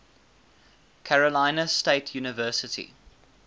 carolina state university